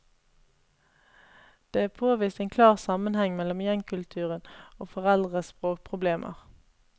Det er påvist en klar sammenheng mellom gjengkulturen og foreldres språkproblemer.